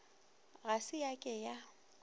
ga se ya ke ya